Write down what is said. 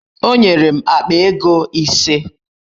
Onyere m akpa ego ise